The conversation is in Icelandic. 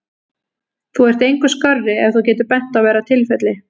Þú ert engu skárri ef þú getur bent á verra tilfelli.